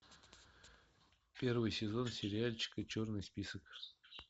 первый сезон сериальчика черный список